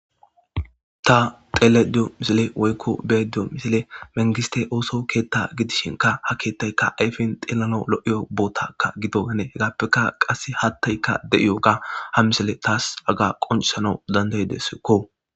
Ta xeelayida diyo misile woyko misile, mangiste ooso keththa giddishinka ha keeththayka ayfen tellin lo'o botaka giddonanne hegappekka qassi hattayka de'oga ha misiliyaas hagga qonccisanna danddayidesko.